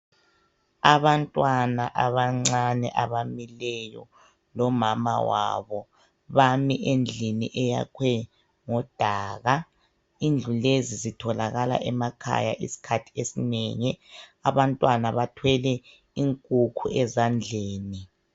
Abantwana abancane abamileyo lomama wabo bami endlini eyakhwe ngodaka. lndlu lezi zitholakala emakhaya izikhathi ezinengi. Abantwana bathwele inkukhu ezandleni.